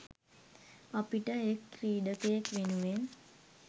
අපිට එක්‌ ක්‍රීඩකයෙක්‌ වෙනුවෙන්